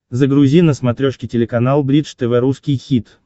загрузи на смотрешке телеканал бридж тв русский хит